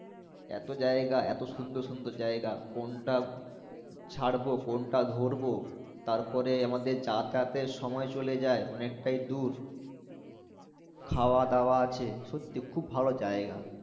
এতো জাইগা এতো সুন্দর সুন্দর জাইগা কোনটা ছাড়বো কোনটা ধরবো তারপরে আমাদের যাতায়াতের সময় চলে যাই অনেকটাই দূর খাওয়াদাওয়া আছে সত্যিই খুব ভালো জাইগা